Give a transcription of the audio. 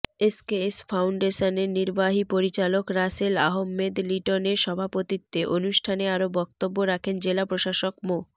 SKS ফাউন্ডেশনের নির্বাহী পরিচালক রাসেল আহমেদ লিটনের সভাপতিত্বে অনুষ্ঠানে আরো বক্তব্য রাখেন জেলা প্রশাসক মো